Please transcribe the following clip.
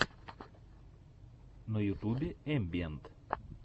на ютюбе эмбиэнт